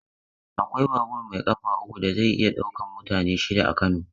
Akwai babur mai ƙafa uku da zai iya ɗaukan mutane shida a Kano.